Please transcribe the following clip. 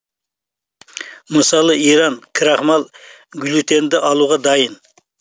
мысалы иран крахмал глютенді алуға дайын